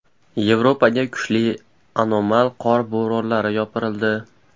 Yevropaga kuchli anomal qor bo‘ronlari yopirildi.